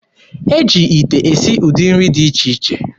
E ji ite esi ụdị nri dị iche iche.